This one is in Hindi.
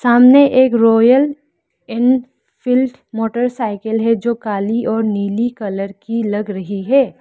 सामने एक रॉयल एनफील्ड मोटरसाइकिल है जो काली और नीली कलर की लग रही है।